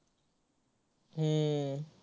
हम्म